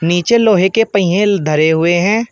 नीचे लोहे के पहिए धरे हुए है।